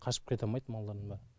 қашып кетамайды малдардың бәрі